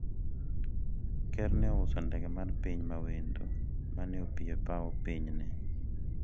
ker ne ouso ndege mar piny mawendo mane opiyo e paw piny ne